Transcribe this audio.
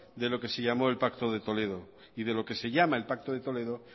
de lo que se llamó el pacto de toledo y de lo que se llama el pacto de toledo